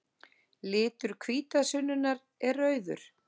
Litur hvítasunnunnar er rauður.